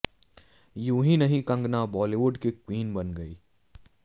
यूं हीं नहीं कंगना बॉलीवुड की क्वीन बन गई हैं